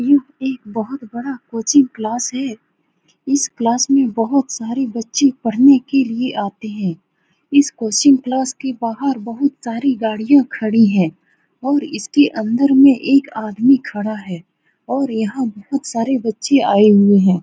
यह एक बहुत बड़ा कोचिंग क्लास है इस क्लास में बहुत सारे बच्चे पढ़ने के लिए आते हैं इस कोचिंग क्लास के बाहर बहुत सारी गाड़ियाँ खड़ी हैं और इसके अन्दर में एक आदमी खड़ा है और यह पर बहुत सारे बच्चे आये हुए हैं ।